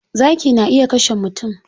Zaki na iya kashe mutum.